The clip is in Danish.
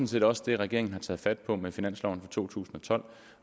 set også det regeringen har taget fat på med finansloven for to tusind og tolv